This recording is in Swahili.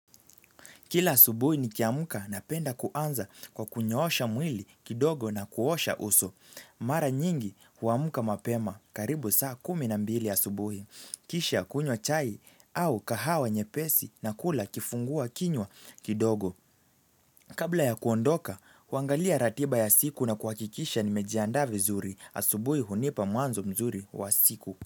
Kila asubuhi nikiamka napenda kuanza kwa kunyoosha mwili kidogo na kuosha uso. Mara nyingi huamka mapema karibu saa kumi na mbili asubuhi. Kisha kunywa chai au kahawa nyepesi na kula kifungua kinywa kidogo. Kabla ya kuondoka, huangalia ratiba ya siku na kuhakikisha nimejiandaa vizuri asubuhi hunipa mwanzo mzuri wa siku.